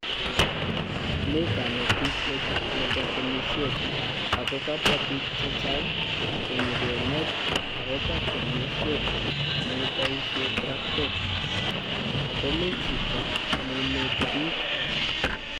Mi kanetisiet nebo temisiet, ako kabwa biik chechang konyikenet akobo temisiet ne kiboisie traktook, ago mi chito ne ineti biik.